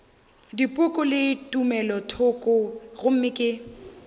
dipoko le tumelothoko gomme ke